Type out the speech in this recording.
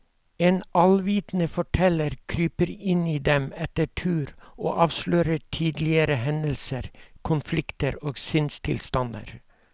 En allvitende forteller kryper inn i dem etter tur og avslører tidligere hendelser, konflikter og sinnstilstander.